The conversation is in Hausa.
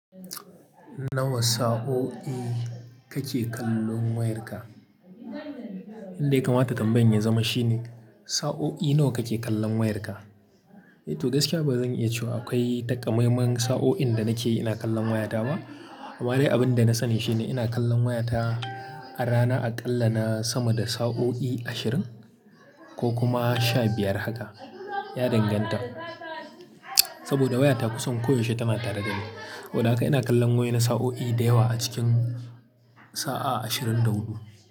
Nawa sa'o'i kake kallon wayarka? Inda ya kamata tambayan ya zama shine sa'o'i nawa kake kallon wayarka? To gaskiya ba zan iya cewa akwai takamaiman sa'o'in da nake ina kallon wayata ba. Amma dai abin da na sani shine ina kallon wayata a rana a ƙalla na sama da sa'o'i ashirin ko kuma sha biyar haka. Ya danganta, saboda wayata kusan koyaushe tana tare da ni. Saboda haka ina kallon wayo na sa'o'i da yawa a cikin sa'a ashirin da huɗu.